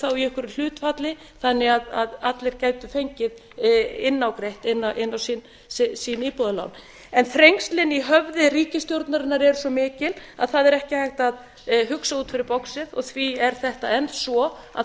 þá í einhverju hlutfalli þannig að allir gætu fengið innágreitt inn á sín íbúðalán en þrengslin í höfði ríkisstjórnarinnar eru svo mikil að það er ekki hægt að hugsa út fyrir boxið og því er þetta enn svo að